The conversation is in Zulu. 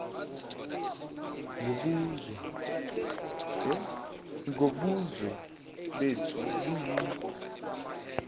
ngobuzwe bethi bayi